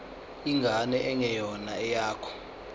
ingane engeyona eyakho